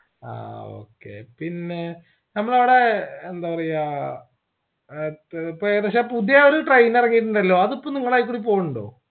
ആ okay പിന്നേ നമ്മളവിടെ യെന്താപറയാ അത് ഇപ്പൊ പുതിയ ഒരു train ഇറങ്ങീട്ടുണ്ടല്ലോ അതിപ്പോ നിങ്ങളയിക്കൂടെ പൊണ്ടോ